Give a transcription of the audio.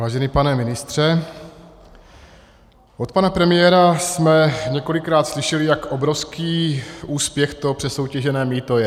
Vážený pane ministře, od pana premiéra jsme několikrát slyšeli, jak obrovský úspěch to přesoutěžené mýto je.